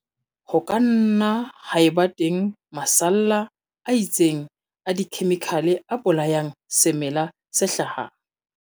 Ho ka nna ha eba teng masalla a itseng a dikhemikhale a bolayang semela se hlahang.